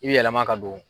I bi yɛlɛma ka don